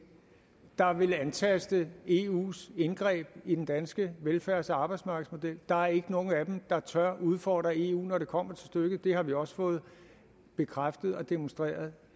der vil antaste eus indgreb i den danske velfærds og arbejdsmarkedsmodel der er ikke nogen af dem der tør udfordre eu når det kommer til stykket det har vi også fået bekræftet og demonstreret